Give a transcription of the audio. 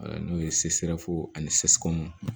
N'o ye ani